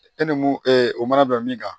E ni mun o mana bɛn min kan